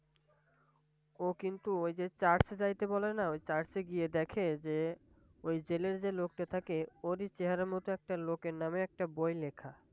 ও কিন্তু ওই যে Church এ যাইতে বলে না? ওই গিয়ে দেখে যে ওই জেলের যে লোকটা থাকে ওরই চেহারার মতো একটা লোকের নামে একটা বই লেখা!